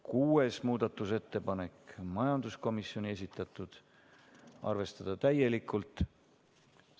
6. muudatusettepanek, majanduskomisjoni esitatud, arvestada täielikult.